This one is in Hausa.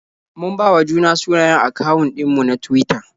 Mun bawa juna sunayen akawun ɗin mu na Tuwita.